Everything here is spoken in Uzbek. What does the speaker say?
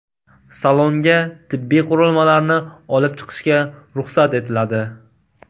Salonga tibbiy qurilmalarni olib chiqishga ruxsat etiladi.